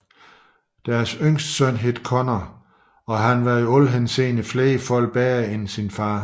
Deres yngste søn hed Konr og han var i alle henseender flere fold bedre end sin Fader